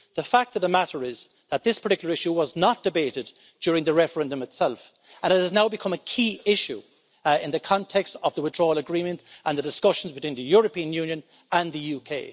The fact of the matter is that this particular issue was not debated during the referendum itself and it has now become a key issue in the context of the Withdrawal Agreement and the discussions between the European Union and the UK.